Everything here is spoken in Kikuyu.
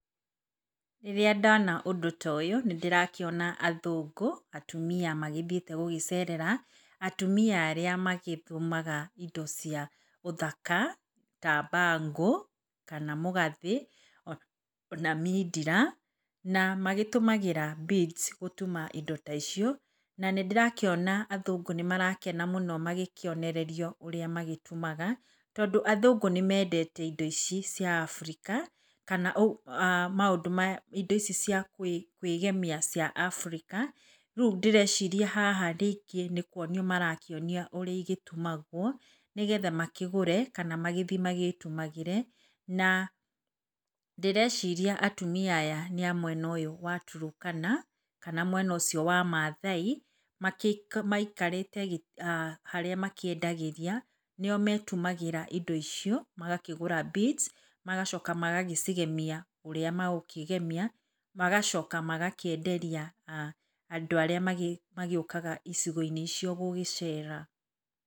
Rĩrĩa ndona ũndũ ta ũyũ nĩndĩrakĩona athũngũ atumia magĩthiĩte gũcerera atumia arĩa magĩtumaga indo cia ũthaka ta bangle kana mũgathĩ ona mindira. Na magĩtũmagĩra beads gũtuma indo ta icio na nĩndĩrakĩona athũngũ nĩmarakena mũno magĩkĩonererio ũrĩa magĩtumaga, tondũ athũngũ nĩmendete indo ici cia Abirika kana indo ici cia kwĩgemia cia Abirika. Rĩu ngwĩciria haha rĩngĩ nĩkuonio marakĩonio ũrĩa cigĩtumagwo, nĩgetha makĩgũre kana magĩthiĩ magĩtumagĩre. Na ndĩreciria atumia aya nĩ a mwena ũyũ wa Turukana kana mwena ũcio wa Mathai. Maikarĩte harĩa makĩendagĩria, nĩ o metumagĩra indo icio magakĩgũra beads, magacoka magagĩcigemia ũrĩa makũgemia, magacoka makenderia andũ arĩa mokaga icigo-inĩ icio gũgĩcera.